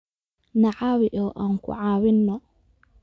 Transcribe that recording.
Na caawi oo aan ku caawinno